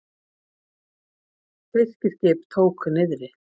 Fiskiskip tók niðri